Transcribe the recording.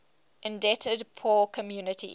indebted poor countries